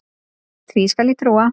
Því skal ég trúa